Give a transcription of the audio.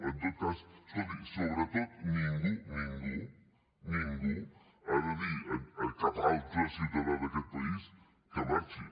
en tot cas escolti sobretot ningú ningú ningú ha de dir a cap altre ciutadà d’aquest país que marxi